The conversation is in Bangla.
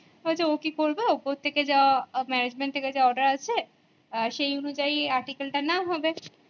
ও কি করবে ওপর থেকে যা management থেকে যা order আছে সেই অনুযায়ী article টার নাম হবে